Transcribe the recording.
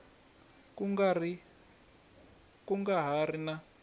ku nga ha ri na